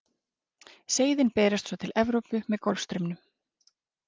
Seiðin berast svo til Evrópu með Golfstraumnum.